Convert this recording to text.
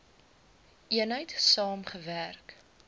eenheid saam gewerk